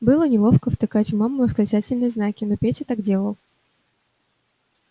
было неловко втыкать в маму восклицательные знаки но петя так делал